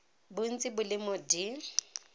bontsi bo le mo d